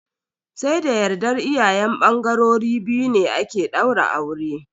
Sai da yardar iyayen bangarori biyu ne ake daura aure.